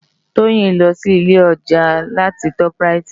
Toyin n lò si ilé òjá lá ti tòp ráyit